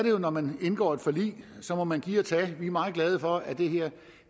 jo når man indgår et forlig må man give og tage vi er meget glade for at det her